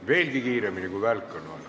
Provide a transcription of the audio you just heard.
Veelgi kiiremini kui välk on vaja.